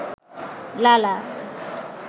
লালা